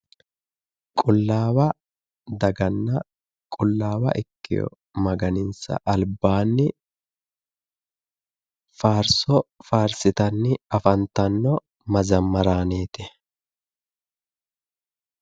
Qullaawa daganna qullawa ikewo maganinsa albaanni faarsso faarsitanni afantano mazamaraaneeti.